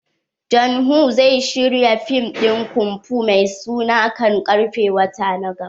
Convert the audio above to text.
John woo zai shirya fim din kunfu mai suna kan karfe wata na gaba.